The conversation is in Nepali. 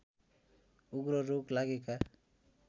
उग्र रोग लागेका